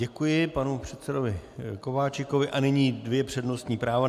Děkuji panu předsedovi Kováčikovi a nyní dvě přednostní práva.